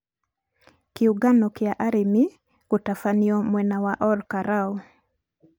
kiũngano kĩa arĩmi gũtabanĩo mwena wa Or'karou